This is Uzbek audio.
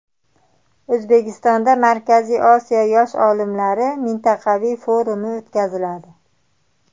O‘zbekistonda Markaziy Osiyo yosh olimlari mintaqaviy forumi o‘tkaziladi.